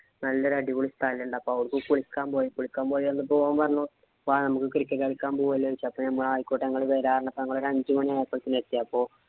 നല്ല ഒരു അടിപൊളി സ്ഥലോണ്ട്. അപ്പൊ അവിടെ കുളിക്കാന്‍ പോയി. കുളിക്കാന്‍ പോയി വന്നപ്പോ ഓന്‍ പറഞ്ഞു. വാ നമുക്ക് cricket കളിക്കാന്‍ പോവാല്ലേ എന്ന് ചോദിച്ചു. അപ്പൊ ഞമ്മള് ആയിക്കോട്ടെ, ഞങ്ങള് വരാം എന്ന് ഞങ്ങള് അഞ്ചുമണി ആയപ്പോഴത്തേനും എത്തി. അപ്പൊ